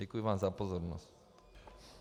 Děkuji vám za pozornost.